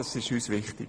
Das ist uns wichtig.